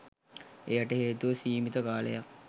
එයට හේතුව සීමිත කාලයක්